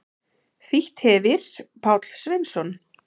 Þýtt hefir Páll Sveinsson.